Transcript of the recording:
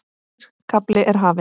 Nýr kafli er hafinn.